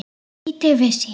Lítið vissi ég.